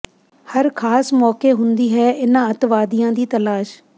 ਹਰ ਖਾਸ ਮੌਕੇ ਹੁੰਦੀ ਹੈ ਇਨ੍ਹਾਂ ਅੱਤਵਾਦੀਆਂ ਦੀ ਤਲਾਸ਼